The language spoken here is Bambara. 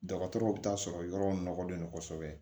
Dɔgɔtɔrɔw bɛ taa sɔrɔ yɔrɔw nɔlen don kosɛbɛ